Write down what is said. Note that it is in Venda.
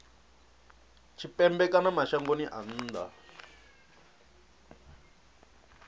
tshipembe kana mashangoni a nnḓa